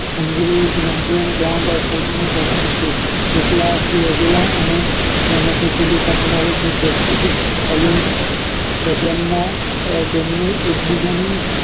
લાંબી ઓજરી ધરાવે છે કેટલાક લોંગેલા અને તેમાંથી ભૂમિકા દર્શવે છે